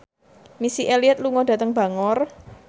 Missy Elliott lunga dhateng Bangor